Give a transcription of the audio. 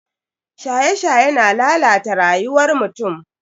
Shaye-shaye na lalata rayuwar mutum.